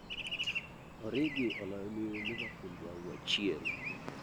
origi oloyoni liverpool bao achiel